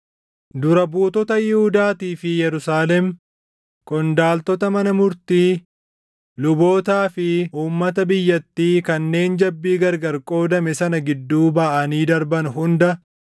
Dura buutota Yihuudaatii fi Yerusaalem, qondaaltota mana murtii, lubootaa fi uummata biyyattii kanneen jabbii gargar qoodame sana gidduu baʼanii darban hunda,